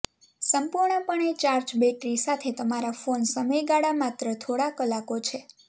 સંપૂર્ણપણે charge battery સાથે તમારા ફોન સમયગાળા માત્ર થોડા કલાકો છે